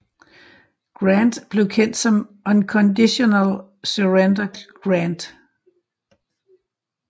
Grant blev kendt som Unconditional Surrender Grant